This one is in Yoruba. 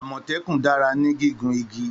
Àmòtékùn dara ni gigun igi.